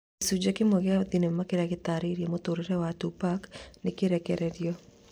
Gĩcunjĩ kĩmwe gĩa thenema kĩrĩa gĩtarĩirie mũtũrĩre wa Tupac nĩrekereirio